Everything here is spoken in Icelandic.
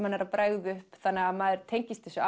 hann er að bregða upp þannig að maður tengist þessu